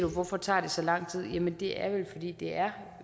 hvorfor tager det så lang tid jamen det er vel fordi det er